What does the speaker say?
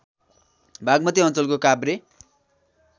बागमती अञ्चलको काभ्रे